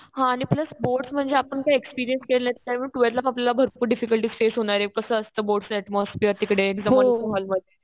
हा. आणि plus board म्हणजे आपण ते एक्सपीरियन्स नाही केलं. त्यामुळे ट्वेल्थला आपल्याला भरपूर डिफिकल्टी फेस होणार आहे. कसं असतं बोर्डचं ऍटमॉसफियेर तिकडे तिथे मोठ्या हॉल मध्ये.